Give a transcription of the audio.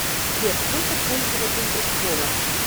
сбер сколько пользователь у сбола